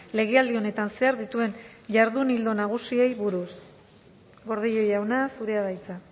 legealdi honetan zehar dituen jardun ildo nagusiei buruz gordillo jauna zurea da hitza